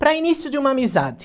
Para início de uma amizade.